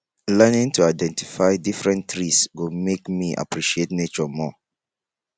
learning to identify different trees go make me appreciate nature more